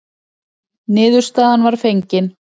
Niðurstaðan var fengin.